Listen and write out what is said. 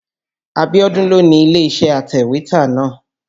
Abíọ́dún ló ni ilé-iṣẹ́ atẹ̀wétà náà.